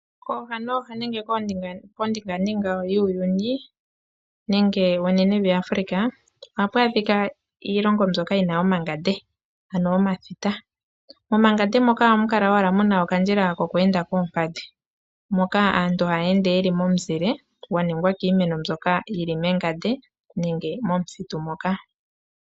Kooha nooha nenge kondinganga yuuyuni nenge konenevi yAfrika ohaku adhika iilongo mbyoka yina omangande ano omathita momangande moka ohamu kala okadjila ko lweenda koompadhi moka aantu hayeende yeli momuzile gwaningwa kiimeno mbyoka yili mengande nenge momuthitu moka.